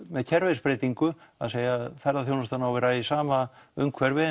með kerfisbreytingu að segja að ferðaþjónustan eigi að vera í sama umhverfi